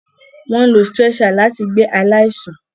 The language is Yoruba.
Wọn ń ló stretcher láti gbé aláìsàn